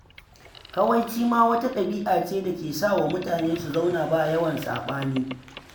Kawaici ma wata ɗabi'a ce da ke sa wa mutane su zauna ba yawan saɓani.